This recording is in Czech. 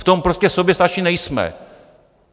V tom prostě soběstační nejsme!